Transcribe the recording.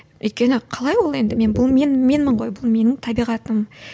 өйткені қалай бұл енді мен бұл мен менмін ғой бұл менің табиғатым